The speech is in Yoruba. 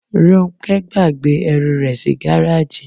Róńkẹ́ gbàgbé ẹrù rẹ̀ sí gáràjì.